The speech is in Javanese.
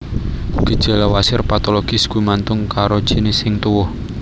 Gejala wasir patologis gumantung karo jinis sing tuwuh